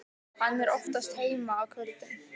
Hann er oftast heima á kvöldin.